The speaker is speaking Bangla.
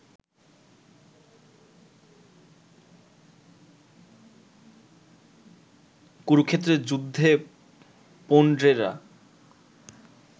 কুরুক্ষেত্রের যুদ্ধে পৌণ্ড্রেরা